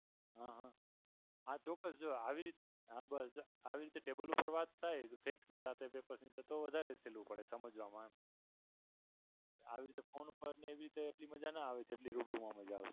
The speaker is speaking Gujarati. અ હા. હા ચોકકસ જો આવી રીતના આવી રીતે table પર વાત થાય સેઠની સાથે paper સાથે તો વધારે સહેલું પડે સમજવામાં આવી રીતે phone ઉપર ને એવી રીતે મજા ના આવે જેટલી રૂબરૂ મજા આવે છે.